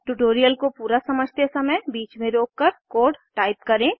tutorial को पूरा समझते समय बीच में रोककर कोड टाइप करें